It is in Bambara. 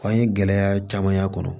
An ye gɛlɛya caman y'a kɔnɔ